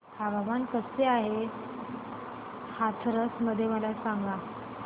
हवामान कसे आहे आज हाथरस मध्ये मला सांगा